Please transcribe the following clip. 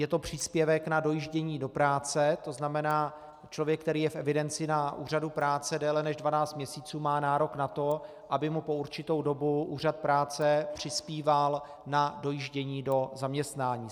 Je to příspěvek na dojíždění do práce, to znamená, člověk, který je v evidenci na úřadu práce déle než 12 měsíců, má nárok na to, aby mu po určitou dobu úřad práce přispíval na dojíždění do zaměstnání.